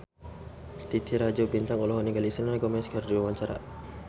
Titi Rajo Bintang olohok ningali Selena Gomez keur diwawancara